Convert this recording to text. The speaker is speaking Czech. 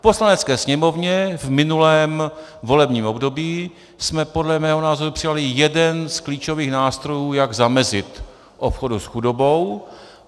V Poslanecké sněmovně v minulém volebním období jsme podle mého názoru přijali jeden z klíčových nástrojů, jak zamezit obchodu s chudobou.